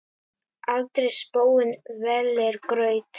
aldrei spóinn vellir graut.